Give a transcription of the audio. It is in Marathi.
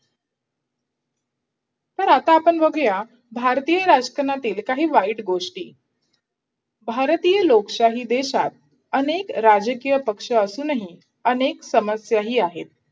तर आता आपण बघूया भारतीय राजकारणातील काही वाईट गोष्टी भारतीय लोकशाही देशात अनेक राजकीय पक्ष असूनही अनेक समस्याही आहे.